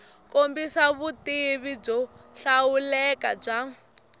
kombisa vutivi byo hlawuleka bya